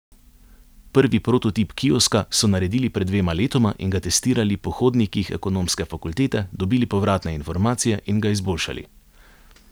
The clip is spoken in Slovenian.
Prvi prototip kioska so naredili pred dvema letoma in ga testirali po hodnikih ekonomske fakultete, dobili povratne informacije in ga izboljšali.